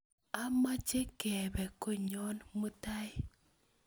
Amoche kepe konyon mutai